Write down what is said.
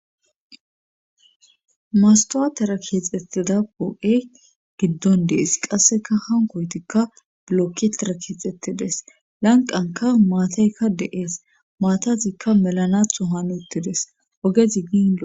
mastwatera keexxettida poo7e giddon dees qasseka hankoytikka blokketera keexxettides lanqanka maataykka deees maatatikka melanatho hanuttides ogezigiin